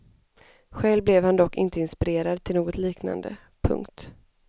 Själv blev han dock inte inspirerad till något liknande. punkt